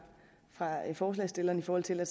forslagsstillerne i forhold til at